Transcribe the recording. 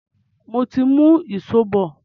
Mo ti ń mú ìṣó bọ̀.